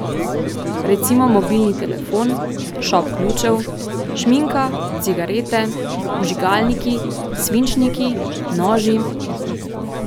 Recimo mobilni telefon, šop ključev, šminka, cigarete, vžigalniki, svinčniki, noži ...